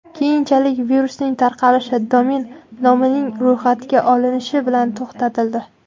Keyinchalik virusning tarqalishi domen nomining ro‘yxatga olinishi bilan to‘xtatildi.